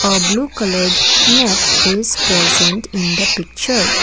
a blue coloured net is present in the picture.